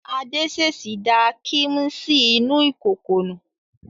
Adé ṣèṣì da kíḿṣì inú kòkò nù.